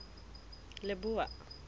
leboa